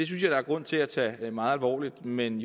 jeg der er grund til at tage meget alvorligt men